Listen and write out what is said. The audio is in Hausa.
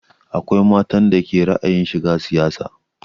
Akwai matan da ke da ra'ayin shiga siyasa